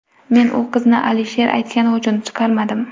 Men u qizni Alisher aytgani uchun chiqarmadim.